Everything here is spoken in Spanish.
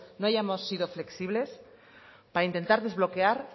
no hayamos sido flexibles para intentar desbloquear